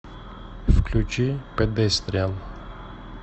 включи педестриан